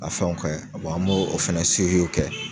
A fɛnw kɛ an b'o o fɛnɛ see kɛ